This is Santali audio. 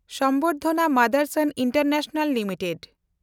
ᱥᱚᱢᱵᱚᱨᱫᱷᱚᱱᱟ ᱢᱟᱫᱮᱱᱰᱥᱚᱱ ᱤᱱᱴᱮᱱᱰᱱᱮᱥᱱᱟᱞ ᱞᱤᱢᱤᱴᱮᱰ